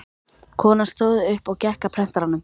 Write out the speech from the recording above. Konan stóð upp og gekk að prentaranum.